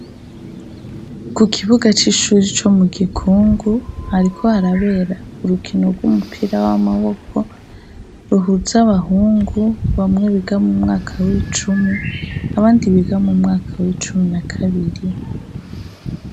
ku kibuga c'ishuri co mu gikungu hariko harabera urukino rw'umupira w'amaboko ruhutse abahungu bamwe biga mu mwaka w'icumi abandi biga mu mwaka w'icumi na kabiri